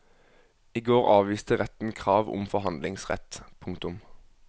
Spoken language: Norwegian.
I går avviste retten krav om forhandlingsrett. punktum